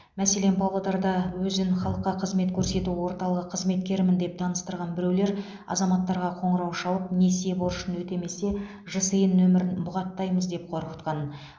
мәселен павлодарда өзін халыққа қызмет көрсету орталығы қызметкерімін деп таныстырған біреулер азаматтарға қоңырау шалып несие борышын өтемесе жсн нөмірін бұғаттаймыз деп қорқытқан